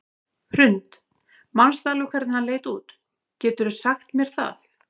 Hrund: Manstu alveg hvernig hann leit út, geturðu sagt mér það?